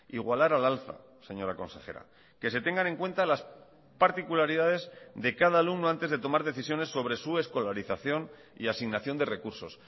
igualar al alza señora consejera que se tengan en cuenta las particularidades de cada alumno antes de tomar decisiones sobre su escolarización y asignación de recursos